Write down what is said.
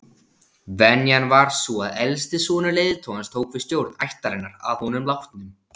Venjan var sú að elsti sonur leiðtogans tók við stjórn ættarinnar að honum látnum.